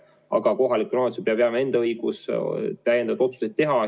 Aga kohalikule omavalitsusele peab jääma õigus täiendavaid otsuseid teha.